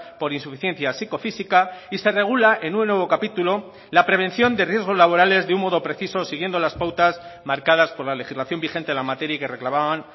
por insuficiencia psicofísica y se regula en un nuevo capítulo la prevención de riesgos laborales de un modo preciso siguiendo las pautas marcadas por la legislación vigente en la materia y que reclamaban